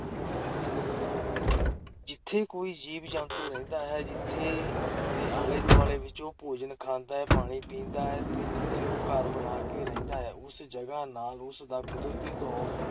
ਜਿੱਥੇ ਕੋਈ ਜੀਵ-ਜੰਤੂ ਰਹਿੰਦਾ ਹੈ, ਜਿੱਥੋਂ ਦੇ ਆਲੇ-ਦੁਆਲੇ ਵਿਚ ਉਹ ਭੋਜਨ ਖਾਂਦਾ ਤੇ ਪਾਣੀ ਪੀਂਦਾ ਹੈ ਤੇ ਜਿੱਥੇ ਉਹ ਘਰ ਬਣਾ ਕੇ ਰਹਿੰਦਾ ਹੈ, ਉਸ ਜਗਾ ਨਾਲ ਉਸ ਦਾ ਕੁਦਰਤੀ ਤੌਰ